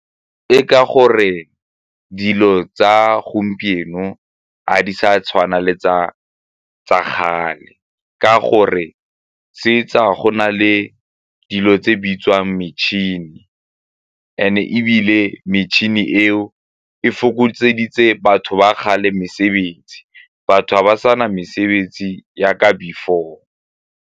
Ke ka gore dilo tsa gompieno ga di sa tshwana le tsa kgale ka gore tse tsa go na le dilo tse bitswang metšhini and ebile metšhini eo e batho ba kgale mesebetsi batho ga ba sa na mesebetsi jaaka before.